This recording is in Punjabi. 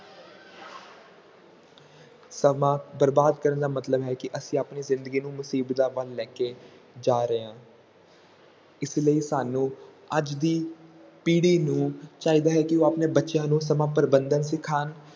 ਸਮਾਂ ਬਰਬਾਦ ਕਰਨ ਦਾ ਮਤਲਬ ਹੈ ਕਿ ਅਸੀਂ ਆਪਣੀ ਜ਼ਿੰਦਗੀ ਨੂੰ ਮੁਸੀਬਤਾਂ ਵੱਲ ਲੈ ਕੇ ਜਾ ਰਹੇ ਹਾਂ ਇਸ ਲਈ ਸਾਨੂੰ ਅੱਜ ਦੀ ਪੀੜ੍ਹੀ ਨੂੰ ਚਾਹੀਦਾ ਹੈ ਕਿ ਉਹ ਆਪਣੇ ਬੱਚਿਆਂ ਨੂੰ ਸਮਾਂ ਪ੍ਰਬੰਧਨ ਸਿਖਾਉਣ